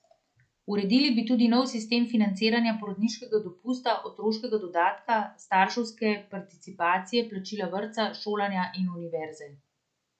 Uredili bi tudi nov sistem financiranja porodniškega dopusta, otroškega dodatka, starševske participacije plačila vrtca, šolanja in univerze.